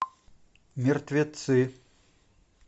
мертвецы